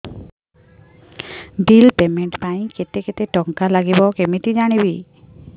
bill payment ପାଇଁ କେତେ କେତେ ଟଙ୍କା ଲାଗିବ କେମିତି ଜାଣିବି